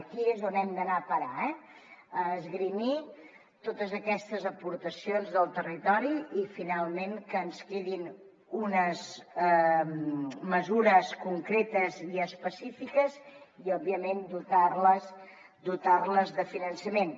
aquí és on hem d’anar a parar eh a esgrimir totes aquestes aportacions del territori i finalment que ens quedin unes mesures concretes i específiques i òbviament dotar les de finançament